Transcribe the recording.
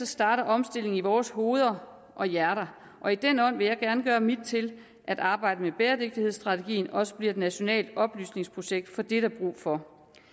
starter omstilling i vore hoveder og hjerter og i den ånd vil jeg gerne gøre mit til at arbejdet med bæredygtighedsstrategien også bliver et nationalt oplysningsprojekt for det er der brug for